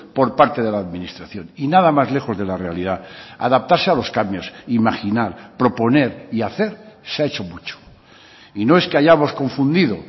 por parte de la administración y nada más lejos de la realidad adaptarse a los cambios imaginar proponer y hacer se ha hecho mucho y no es que hayamos confundido